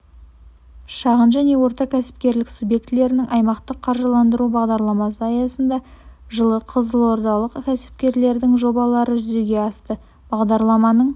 шағын және орта кәсіпкерлік субъектілерін аймақтық қаржыландыру бағдарламасы аясында жылы қызылордалық кәсіпкерлердің жобалары жүзеге асты бағдарламаның